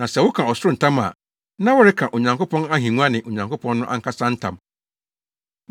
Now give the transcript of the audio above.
Na sɛ woka ɔsoro ntam a, na woreka Onyankopɔn ahengua ne Onyankopɔn no ankasa ntam.